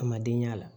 A man den y'a la